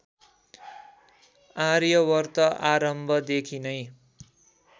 आर्यावर्त आरम्भदेखि नै